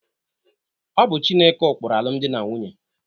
Ọ bụ Chineke ụkpụrụ alụmdi na nwunye.